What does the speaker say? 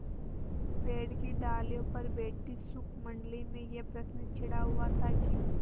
पेड़ की डालियों पर बैठी शुकमंडली में यह प्रश्न छिड़ा हुआ था कि